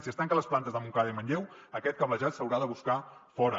si es tanquen les plantes de montcada i manlleu aquest cablejat s’haurà de buscar fora